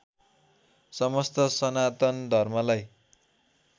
समस्त सनातन धर्मलाई